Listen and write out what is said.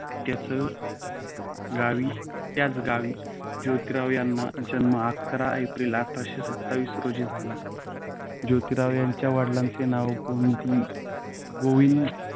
त्याच गावी त्य़ाचगावी जोतीराव यांचा जन्म अकरा एप्रिल आठरसे सत्तावीस रोजी झाला. जोतीराव यांच्या वडिलांचे ना गोविंद